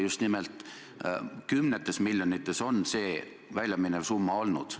Just nimelt kümnetes miljonites on väljaminevad summad olnud.